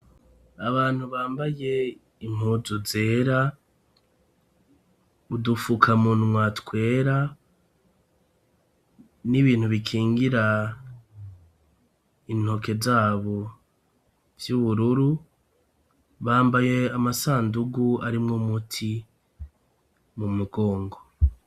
Abantu bambaye impuzu zera, udufukamunwa twera, n'ibintu bikingira intoke zabo vy'ubururu ,bambaye amasandugu arimwo umuti mu mugongo.